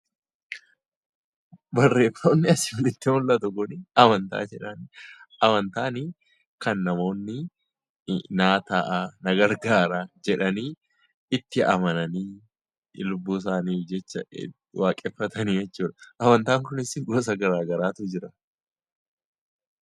Barreeffamni asiin olitti mul'atu kun amantaa jedhama. Amantaan kan namoonni na gargaara, naaf ta'a jedhanii itti amananii lubbuu isaaniitiif jecha waaqeffatan jechuudha. Amantaan kunis gosa garaagaraatu jira.